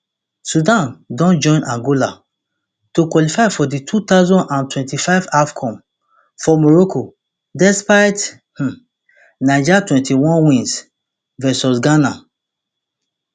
sudan don join angola to qualify for di two thousand and twenty-five afcon for morocco despite um niger twenty-one win vs ghana